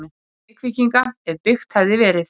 Reykvíkinga, ef byggt hefði verið.